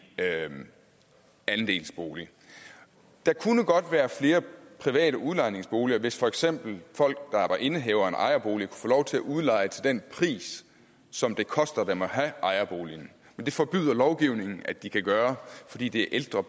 andelsbolig der kunne godt være flere private udlejningsboliger hvis for eksempel folk der var indehavere af en ejerbolig få lov til at udleje til den pris som det koster dem at have ejerboligen det forbyder lovgivningen at de kan gøre fordi det er ældre